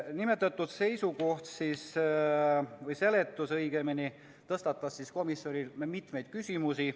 Nimetatud seisukoht või õigemini seletus tõstatas komisjonis mitmeid küsimusi.